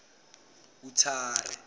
uthera